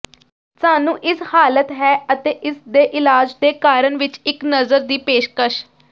ਸਾਨੂੰ ਇਸ ਹਾਲਤ ਹੈ ਅਤੇ ਇਸ ਦੇ ਇਲਾਜ ਦੇ ਕਾਰਨ ਵਿੱਚ ਇੱਕ ਨਜ਼ਰ ਦੀ ਪੇਸ਼ਕਸ਼